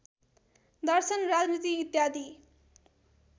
दर्शन राजनीति इत्यादि